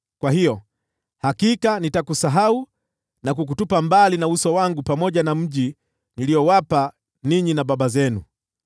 Kwa hiyo, hakika nitakusahau na kukutupa mbali na uso wangu pamoja na mji niliowapa ninyi na baba zenu.